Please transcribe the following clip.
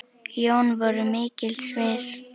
Jón voru mikils virt.